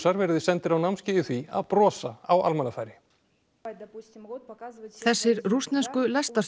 verið sendur á námskeið í því að brosa á almannafæri þessir rússnesku